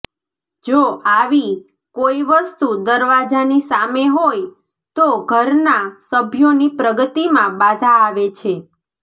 જો આવી કોઇ વસ્તુ દરવાજાની સામે હોય તો ઘરના સભ્યોની પ્રગતિમાં બાધા આવે છે